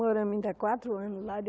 Moramos ainda quatro anos lá